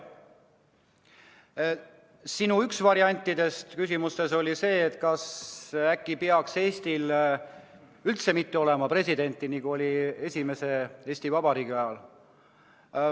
Üks sinu variantidest oli see, et äkki ei peaks Eestis üldse olema presidenti, nii nagu oli esimese Eesti Vabariigi ajal.